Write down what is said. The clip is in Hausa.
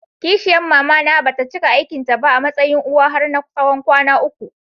Ƙishiyar mamana bata cika aikin ta ba a matsayin uwa har na tsawon kwana uku.